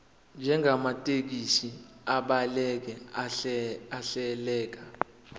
njengamathekisthi abhaleke ahleleka